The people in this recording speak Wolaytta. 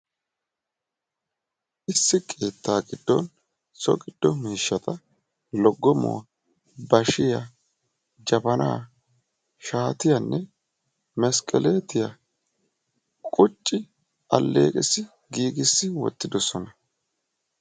Issi keetta giddon so gido miishsha loggomuwa, bashiyanne meskkelettiya qucci giigissi uttidosonna.